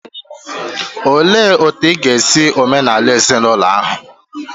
Olee otu ị ga-esi omenala ezinaụlọ ha?